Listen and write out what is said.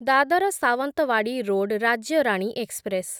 Dadar Sawantwadi road Rajya Rani express